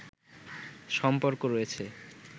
সম্পর্ক রয়েছে